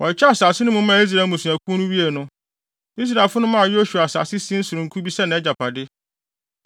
Wɔkyekyɛɛ asase no mu maa Israel mmusuakuw no wiee no, Israelfo no maa Yosua asase sin sononko bi sɛ nʼagyapade.